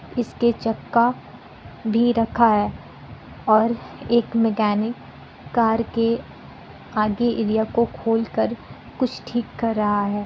इसके चक्का भी रखा है और एक मैकेनिक कार के आगे एरिया को खोल कर कुछ ठीक कर रहा है।